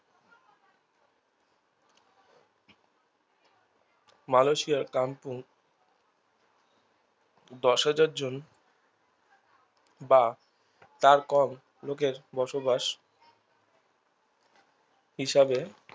মালয়েশিয়ার কামপুং দশ হাজার জন বা তার কম লোকের বসবাস হিসাবে